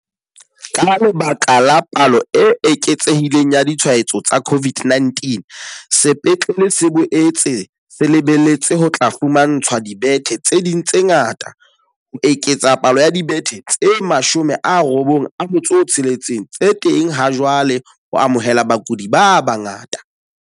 Ka lebaka la palo e eketsehi leng ya ditshwaetso tsa CO VID-19, sepetlele se boetse se le beletse ho tla fumantshwa dibethe tse ding tse ngata, ho eketsa palo ya dibethe tse 96 tse teng ha jwale ho amohela bakudi ba bangata.